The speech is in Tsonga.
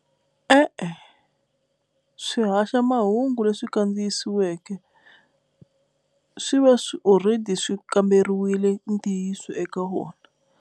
E-e, swihaxamahungu leswi kandziyisiweke swi va swi already swi kamberiwile ntiyiso eka wona.